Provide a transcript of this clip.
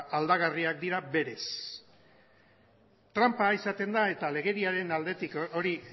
aldagarriak dira berez tranpa izaten da eta legediaren aldetik hori